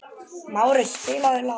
Márus, spilaðu lag.